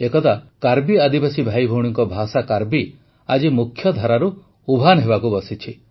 ଏକଦା କାର୍ବି ଆଦିବାସୀ ଭାଇଭଉଣୀଙ୍କ ଭାଷା କାର୍ବି ଆଜି ମୁଖଧାରାରୁ ଉଭାନ ହେବାକୁ ବସିଛି